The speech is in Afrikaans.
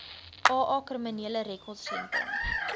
aa kriminele rekordsentrum